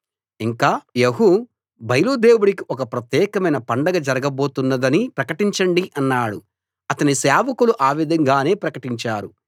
ఇంకా యెహూ బయలు దేవుడికి ఒక ప్రత్యేకమైన పండగ జరుగబోతున్నదని ప్రకటించండి అన్నాడు అతని సేవకులు ఆ విధంగానే ప్రకటించారు